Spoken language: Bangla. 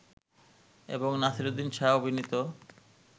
এবং নাসিরুদ্দিন শাহ অভিনীত